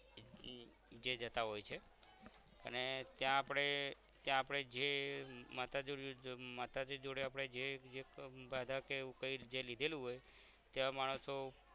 જે જતાં હોય છે અને ત્યાં આપણે ત્યાં આપણે જે માતાજી માતાજી જોડે આપણે જે પણ બાધા કે એવું કઈ જે લીધેલું હોય ત્યાં માણસો